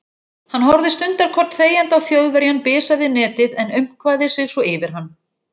Hann horfði stundarkorn þegjandi á Þjóðverjann bisa við netið en aumkvaði sig svo yfir hann.